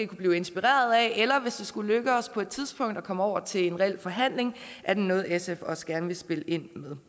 blive inspireret af eller hvis det skulle lykkes os på et tidspunkt at komme over til en reel forhandling er det noget sf også gerne vil spille ind med